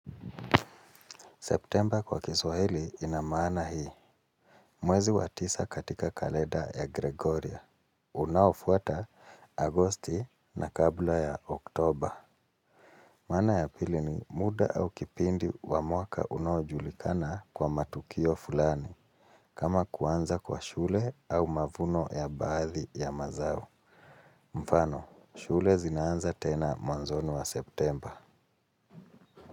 September kwa kiswahili ina maana hii. Mwezi wa tisa katika kalenda ya Gregoria. Unaofuata agosti na kabla ya oktober. Maana ya pili ni muda au kipindi wa mwaka unajulikana kwa matukio fulani. Kama kuanza kwa shule au mavuno ya baadhi ya mazao. Mfano, shule zinaanza tena mwanzoni mwa September.